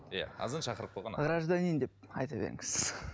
иә азан шақырып қойған ат гражданин деп айта беріңіз